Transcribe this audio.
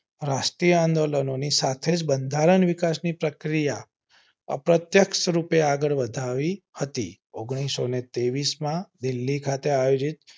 રાષ્ટ્રીય આંદોલન નો ની સાથે બંધારણીય વિકાસ ની પ્રક્રિયા અપ્રત્યક્ષ રૂપે આગળ વધાવી હતી ઓન્ગ્લીસો ને ત્રેવીસ માં દિલ્હી ખાતે આયોજિત